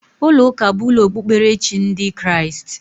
Ulo uka bu ulo okpukperechi ndi Kriast